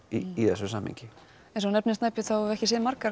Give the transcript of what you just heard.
í þessu samhengi eins og þú nefndir Snæbjörn höfum við ekki séð margar